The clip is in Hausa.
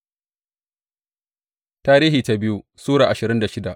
biyu Tarihi Sura ashirin da shida